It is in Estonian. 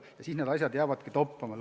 Ja siis asjad jäävadki toppama.